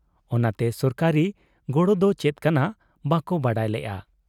ᱚᱱᱟᱛᱮ ᱥᱚᱨᱠᱟᱨᱤ ᱜᱚᱲᱚ ᱫᱚ ᱪᱮᱫ ᱠᱟᱱᱟ ᱵᱟᱠᱚ ᱵᱟᱰᱟᱭ ᱞᱮᱜ ᱟ ᱾